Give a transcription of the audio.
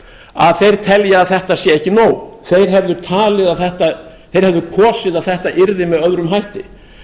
að þeir telja að þetta sé ekki nóg þeir hefðu kosið að þetta yrði með öðrum hætti